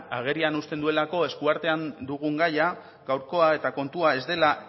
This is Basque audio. agerian uzten duelako eskuartean dugun gaia gaurkoa eta kontua ez dela